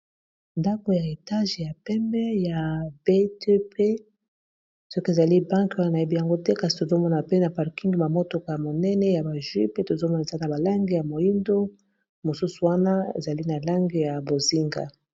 Ndako ya etage ya pembe ya bete pe soki ezali banke wana na yebi yango te kasi tozomona pe na parking mamotoko ya monene ya ba jwi pe tozomonaesana balange ya moindo mosusu wana ezali na lange ya bozinga.